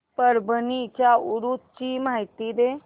परभणी च्या उरूस ची माहिती दे